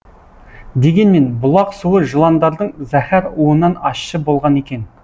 дегенмен бұлақ суы жыландардың зәһәр уынан ащы болған екен